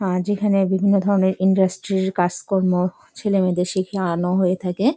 আহ যেখানে বিভিন্ন ধরণের ইন্ডাস্ট্রি -র কাজ কর্ম ছিলে সেটি শিখিয়ে আনা হয়ে থাকে।